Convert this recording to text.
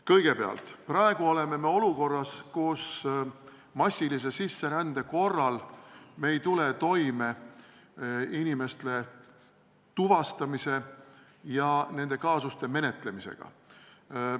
Kõigepealt, praegu oleme olukorras, kus massilise sisserände korral me ei tule toime inimeste tuvastamise ja nende kaasuste menetlemisega.